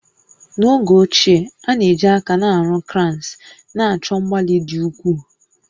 N'oge ochie, a na-eji aka na-arụ cranes, na-achọ mgbalị dị ukwuu